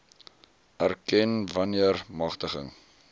erken wanneer magtiging